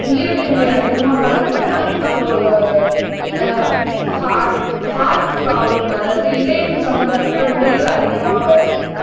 நீரிழிவு நோய் அதிகமா பார்த்திருக்கேன் அப்புறம் அஹ் ஹார்ட் ஹார்ட் ப்ரோப்லம் அதாவது இதயம் சம்பந்தப்பட்ட நோய்கள் அதிகமா வருது